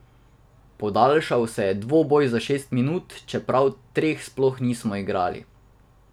Podaljšal je dvoboj za šest minut, čeprav treh sploh nismo igrali.